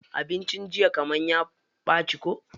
Abincin jiya kaman ya ɓaci ko?